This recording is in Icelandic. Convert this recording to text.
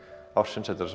ársins þetta